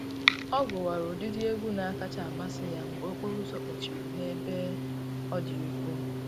Ọ gụwara ụdịdị egwu na-akacha amasị ya mgbe okporo ụzọ kpọchiri n'ebe ọ dị ukwuu